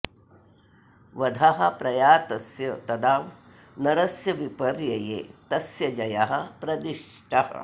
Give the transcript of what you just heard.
वधः प्रयातस्य तदा नरस्य विपर्यये तस्य जयः प्रदिष्टः